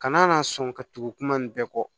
Kana na sɔn ka tugu kuma nin bɛɛ kɔ